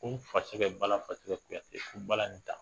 Ko n fasɛgɛ balafasɛgɛ Kuyatɛ ko bala in ta